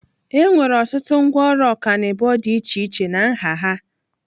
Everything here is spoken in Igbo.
Enwere ọtụtụ ngwaọrụ ọkanibo dị iche iche na nha ha.